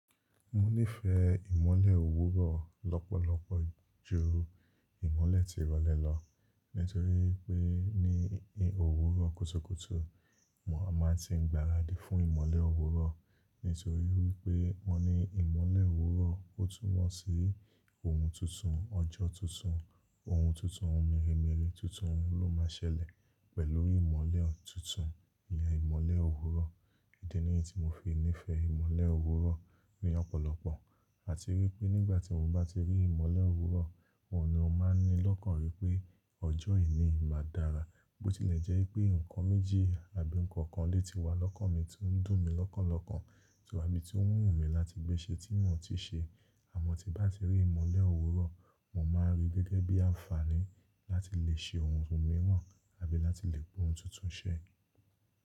Mo nífẹ̀ẹ́ ìmọ́lẹ̀ òwúrọ̀ lọ́pọ̀lọpọ̀ ju ìmọ́lẹ̀ tirọlẹ lọ nítorí pé ní òwúrọ̀ kùtùkùtù mo a máa tí ń gbaradì fún ìmọ́lẹ̀ òwúrọ̀ nítorí wípé wọ́n ni ìmọ́lẹ̀ òwúrọ̀ ó túnmọ̀ sí ohun tuntun, ọjọ́ tuntun, ohun tuntun, ohun mèremère tuntun ló máa ṣẹlẹ̀ pẹ̀lú ìmọ́lẹ̀ tuntun, ìyen ìmọ́lẹ̀ òwúrọ̀. Idi nìyí tí mo fi nífẹ̀ẹ́ ìmọ́lẹ̀ òwúrọ̀ ní ọ̀pọ̀lọpọ̀ àti wí pé nígbà tí mo bá ti rí ìmọ́lẹ̀ òwúrọ̀, oun ni o máa ń ní lọ́kàn wípé ọjọ́ eni yìí máa dára. Bó tilẹ̀ jẹ́ pé nǹkan méjì àbí nǹkan kan lè ti wá lọ́kàn mi tí ń dùn mí lọ́kàn lọ́kàn tí o ń wú mí láti gbéṣẹ tí mò ti ṣe. Àmọ́ tí bá ti rí ìmọ́lẹ̀ òwúrọ̀, mo máa rí gẹ́gẹ́ bí àǹfààní láti lè ṣe ohun míìrán àbí láti lè gbe ohun tuntun ṣẹ́.